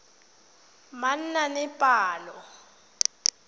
manaanepalo